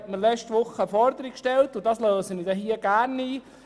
Dieser hat letzte Woche eine Forderung an mich gestellt, die ich gerne einlöse: